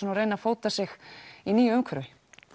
reyna að fóta sig í nýju umhverfi